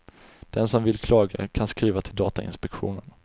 Den som vill klaga kan skriva till datainspektionen.